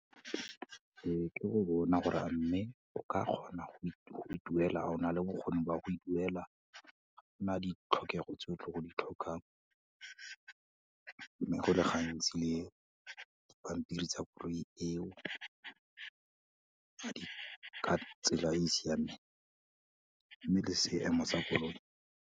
Ee, ke go bona gore a mme, o ka kgona go e duela, a o na le bokgoni ba go e duela, ga o na ditlhokego tse o tlo go di tlhokang. Mme, go le gantsi dipampiri tsa koloi eo, ga di ka tsela e e siameng, mme le seemo sa koloi.